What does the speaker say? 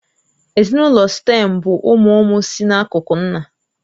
Ezinụlọ Sịtẹ̀m bụ ụmụ ụmụ si n'akụkụ nna